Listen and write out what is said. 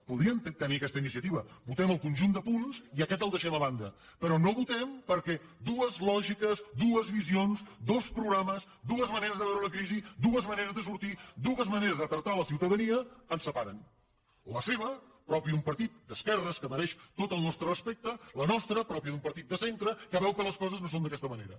podríem tenir aquesta iniciativa votem el conjunt de punts i aquest el deixem a banda però no votem perquè dueslògiques duesde veure la crisi dues maneres de sortir tractar la ciutadania ens separen la seva pròpia d’un partit d’esquerres que mereix tot el nostre respecte la nostra pròpia d’un partit de centre que veu que les coses no són d’aquesta manera